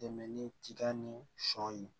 Dɛmɛ ni tiga ni sɔ ye